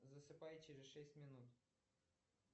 засыпай через шесть минут